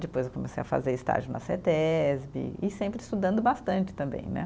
Depois eu comecei a fazer estágio na Cetesbe e sempre estudando bastante também, né?